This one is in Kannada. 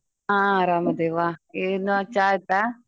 ಹ ಅರಮದಿವಾ ಎನ್ ಚಾ ಆಯ್ತಾ?